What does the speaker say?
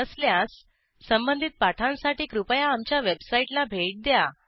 नसल्यास संबंधित पाठांसाठी कृपया आमच्या वेबसाईटला भेट द्या